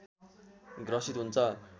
ग्रसित हुन्छ